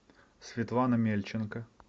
светлана мельченко